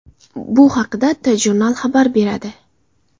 Bu haqda TJournal xabar beradi .